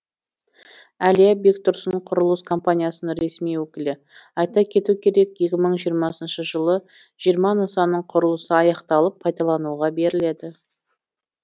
әлия бектұрсын құрылыс компаниясының ресми өкілі айта кету керек екі мың жиырмасыншы жылы жиырма нысанның құрылысы аяқталып пайдалануға беріледі